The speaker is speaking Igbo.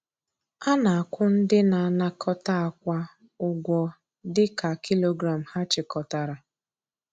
A na-akwụ ndị na-anakọta akwa ụgwọ dị ka kilogram ha chịkọtara.